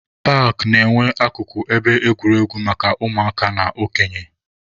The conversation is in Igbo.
Paakị na-enwe akụkụ ebe egwuregwu maka ụmụaka na okenye.